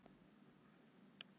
sum skordýr eru afar smávaxin